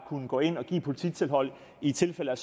kunne gå ind og give et polititilhold i tilfælde af